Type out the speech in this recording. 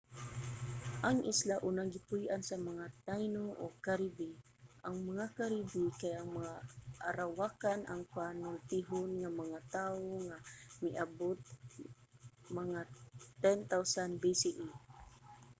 ang isla unang gipuy-an sa mga taino ug caribe. ang mga caribe kay mga arawakan ang panultihon nga mga tao nga miabot mga 10,000 bce